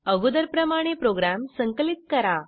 अगोदर प्रमाणे प्रोग्रॅम संकलित करा